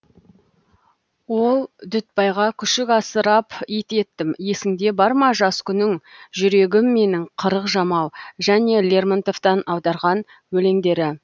ол дүтбайға күшік асырап ит еттім есіңде бар ма жас күнің жүрегім менің қырық жамау және лермонтовтан аударған өлеңдері